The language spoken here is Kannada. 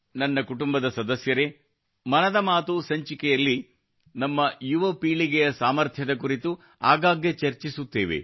ನನ್ನ ಕುಟುಂಬದ ಸದಸ್ಯರೆ ಮನದ ಮಾತು ಸಂಚಿಕೆಯಲ್ಲಿ ನಮ್ಮ ಯುವ ಪೀಳಿಗೆಯ ಸಾಮರ್ಥ್ಯದ ಕುರಿತು ಆಗಾಗ್ಗೆ ಚರ್ಚಿಸುತ್ತೇವೆ